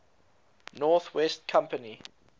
north west company